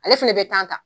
Ale fɛnɛ bɛ ta